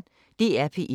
DR P1